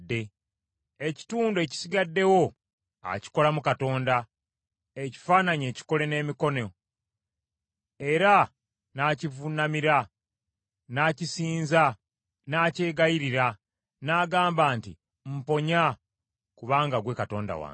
Ekitundu ekisigaddewo akikolamu katonda, ekifaananyi ekikole n’emikono, era n’akivuunamira n’akisinza n’akyegayirira n’agamba nti, “Mponya, kubanga ggwe katonda wange.”